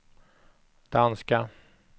danska